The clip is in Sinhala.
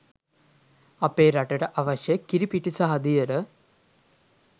අපේ රටට අවශ්‍ය කිරිපිටි සහ දියර